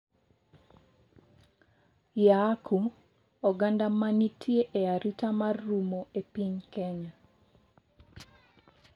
Yaaku, oganda ma nitie e arita mar rumo e piny Kenya